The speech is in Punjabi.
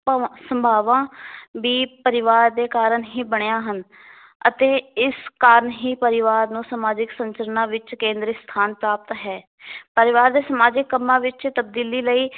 ਭਾਵਾਂ, ਸੰਭਾਵਾਂ ਵੀ ਪਰਿਵਾਰ ਦੇ ਕਾਰਨ ਹੀ ਬਣੀਆਂ ਹਨ ਅਤੇ ਇਸ ਕਾਰਨ ਹੀ ਪਰਿਵਾਰ ਨੂੰ ਸਮਾਜਿਕ ਸੰਚਰਨਾ ਵਿੱਚ ਕੇਂਦਰੀ ਸਥਾਨ ਪ੍ਰਾਪਤ ਹੈ ਪਰਿਵਾਰ ਦੇ ਸਮਾਜਿਕ ਕੰਮਾਂ ਵਿਚ ਤਬਦੀਲੀ ਲਈ